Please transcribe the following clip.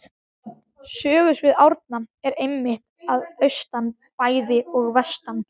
Sögusvið Árna er einmitt að austan bæði og vestan